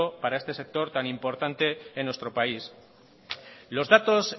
para este sector tan importante en nuestro país los datos